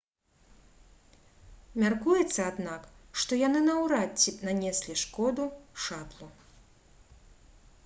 мяркуецца аднак што яны наўрад ці нанеслі шкоду шатлу